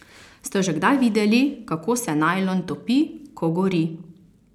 Ste že kdaj videli, kako se najlon topi, ko gori?